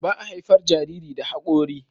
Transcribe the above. baa haifar Jariri da hakori